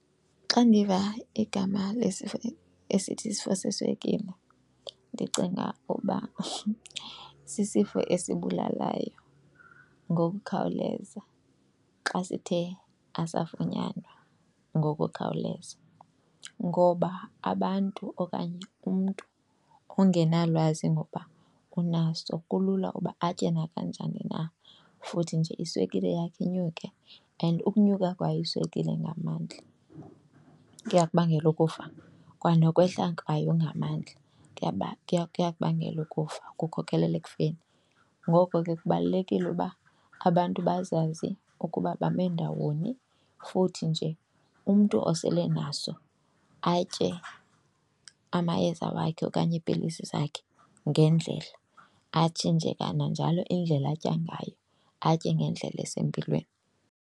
Xa ndiva igama lesifo esithi isifo seswekile ndicinga uba sisifo esibulalayo ngokukhawuleza xa sithe asafunyanwa ngokukhawuleza. Ngoba abantu okanye umntu ongenalwazi ngoba unaso kulula uba atye nakanjani na futhi nje iswekile yakhe inyuke. And ukunyuka kwayo iswekile ngamandla kuyakubangela ukufa kwanokwehla kwayo ngamandla kuyakubangela ukufa, kukhokelela ekufeni. Ngoko ke kubalulekile uba abantu bazazi ukuba bame ndawoni futhi nje umntu osele naso atye amayeza wakhe okanye iipilisi zakhe ngendlela, atshintshe kananjalo indlela atya ngayo atye ngendlela esempilweni.